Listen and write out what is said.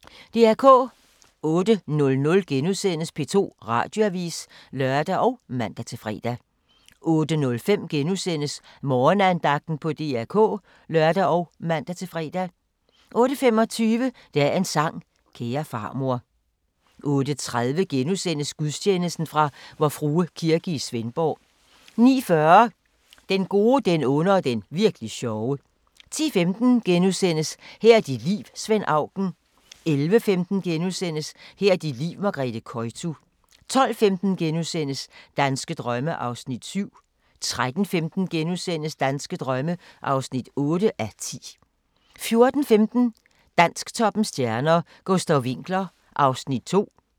08:00: P2 Radioavis *(lør og man-fre) 08:05: Morgenandagten på DR K *(lør og man-fre) 08:25: Dagens sang: Kære farmor 08:30: Gudstjeneste fra Vor Frue Kirke, Svendborg * 09:40: Den gode, den onde og den virk'li sjove 10:15: Her er dit liv – Svend Auken * 11:15: Her er dit liv – Margrethe Koytu * 12:15: Danske drømme (7:10)* 13:15: Danske drømme (8:10)* 14:15: Dansktoppens stjerner: Gustav Winckler (2:4)